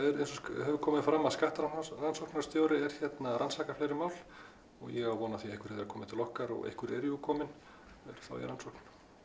hefur komið fram þá skattrannsóknarstjóri að rannsaka fleiri mál og ég á von á því að einhver þeirra komi svo til okkar og einhver eru jú komin og eru þá í rannsókn